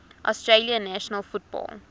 australian national football